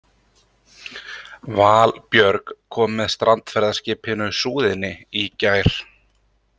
Valbjörg kom með strandferðaskipinu Súðinni í gær.